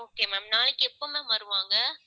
okay ma'am நாளைக்கு எப்ப ma'am வருவாங்க.